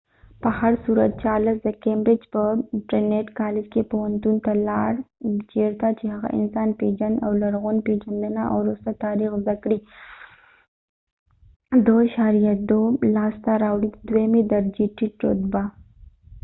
په هرصورت، چارلس د کیمبرج په ټرینیټ کالج کې پوهنتون ته لاړ چېرته چې هغه د انسان پیژند او لرغون پیژندنه او وروسته تاریخ زده کړې، ۲:۲ لاسته راوړی. د دویمې درجې ټیټ رتبه